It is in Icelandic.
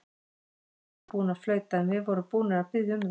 Hann var víst ekki búinn að flauta, en við vorum búnir að biðja um það.